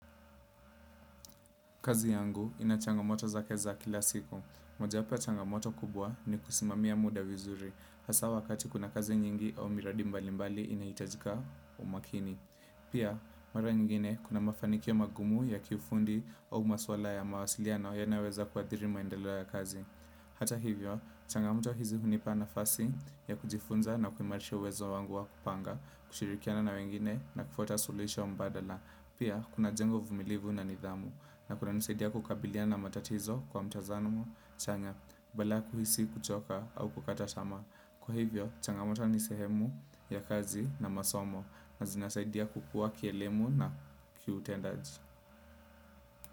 Kazi yangu ina changamoto zake za kila siku. Mojawapo ya changamoto kubwa ni kusimamia muda vizuri. Hasa wakati kuna kazi nyingi au miradi mbali mbali inahitajika umakini. Pia, mara nyingine kuna mafanikio magumu ya kiufundi au maswala ya mawasiliano yanayoweza kuathiri maendeleo ya kazi. Hata hivyo, changamoto hizi hunipa nafasi ya kujifunza na kuimarisha uwezo wangu wa kupanga, kushirikiana na wengine na kufuata suluhisho mbadala. Pia, kunajenga uvumilivu na nidhamu. Na kunanisaidia kukabiliana na matatizo kwa mtazamo, chanya, badala ya kuhisi, kuchoka au kukata tamaa. Kwa hivyo, changamoto ni sehemu ya kazi na masomo na zinasaidia kukuwa kielemu na kiutendaji.